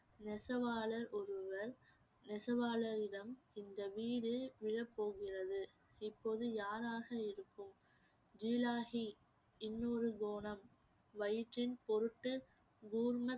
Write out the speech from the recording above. நெசவாளர் ஒருவர் நெசவாளரிடம் இந்த வீடு விழப்போகிறது இப்போது யாராக இருக்கும் இன்னொரு கோணம் வயிற்றின் பொருட்டு பூர்ண